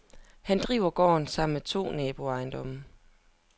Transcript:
Han driver gården sammen med to naboejendomme.